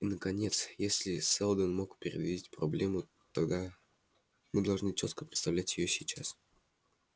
и наконец если сэлдон мог предвидеть проблему тогда мы должны чётко представлять её сейчас